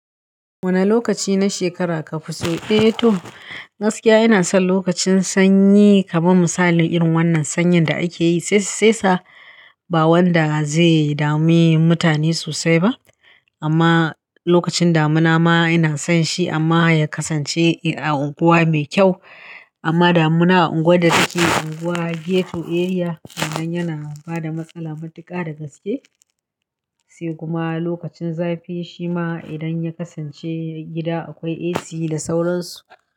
Wane lokaci na shekara kafi so? Eh to, gaskiya ina son lokacin sanyi kaman misali irin wannan sanyin da akeyi sai saisa, ba wanda zai dami mutane sosai ba amma lokacin damuna ma ina son shi amma ya kasance a unguwa mekyau amma damuna a unguwar da take unguwa ghetto area, wannan yana bada matsala matuka dagaske. Sai kuma lokacin zafi shima idan ya kasance gida akwai AC da sauransu.